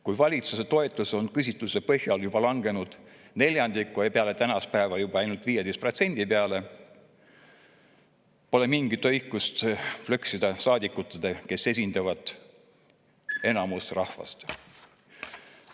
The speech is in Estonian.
Kui valitsuse toetus on küsitluste põhjal langenud neljandiku ja peale tänast päeva ainult 15% peale, pole mingit õigust plõksida saadikutega, kes esindavad rahva enamust.